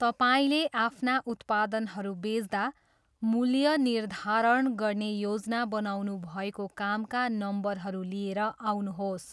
तपाईँले आफ्ना उत्पादनहरू बेच्दा मूल्य निर्धारण गर्ने योजना बनाउनुभएको कामका नम्बरहरू लिएर आउनुहोस्।